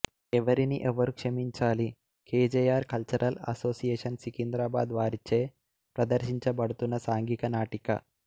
ఎవరిని ఎవరు క్షమించాలి K J R cultural association Secunderabad వారిచే ప్రదర్శించబడుతున్న సాంఘిక నాటిక